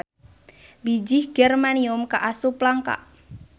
Bijih germanium kaasup langka.